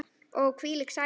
Og hvílík sæla.